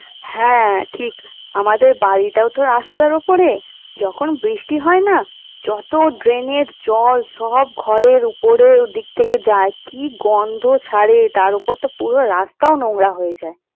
হ্যাঁ ঠিক আমাদের বাড়িটাও তো রাস্তার ওপরে যখন বৃষ্টি হয় না যত drain জল সব ঘরের উপরের ওদিক থেকে যায় কি গন্ধ ছাড়ে তার ওপর তো পুরো রাস্তাও নোংরা হয়ে যায়।